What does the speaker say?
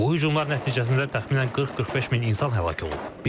Bu hücumlar nəticəsində təxminən 40-45 min insan həlak olub.